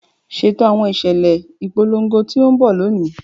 Ṣeto awọn iṣẹlẹ ipolongo ti n bọ loni!